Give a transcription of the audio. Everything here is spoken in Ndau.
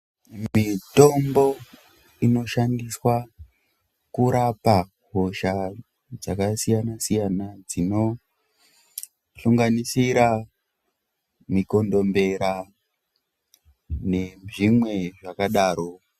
Mitombo inoshandiswa kurapa hosha dzakasiyana-siyana, dzinohlonganisira mikondombera nezvimwe zvakadaro.